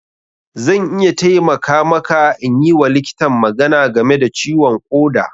Zan iya taimaka maka in yi wa likitan magana game da ciwon ƙoda.